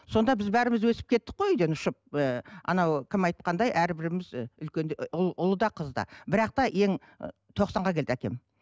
сонда біз бәріміз өсіп кеттік қой үйден ұшып ы анау кім айтқандай әрбіріміз ы үлкен ұл ұлы да қызы да бірақ та ең тоқсанға келді әкем